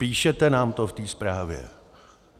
Píšete nám to v té zprávě.